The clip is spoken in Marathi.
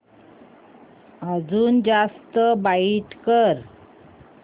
अजून जास्त ब्राईट कर